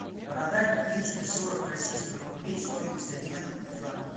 продать двести сорок российских рублей стоимость обмена в франки